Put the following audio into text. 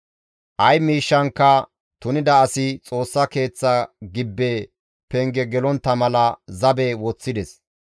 Ay miishshankka tunida asi Xoossa keeththa gibbe penge gelontta mala zabe woththides.